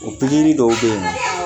O dɔw be yen nɔ